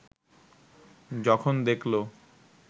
যখন দেখল